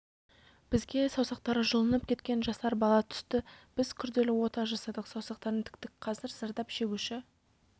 бізге саусақтары жұлынып кеткен жасар бала түсті біз күрделі ота жасадық саусақтарын тіктік қазір зардап шегуші